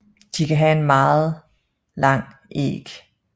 De kan have en meget lang æg